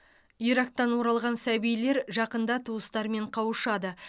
ирактан оралған сәбилер жақында туыстарымен қауышады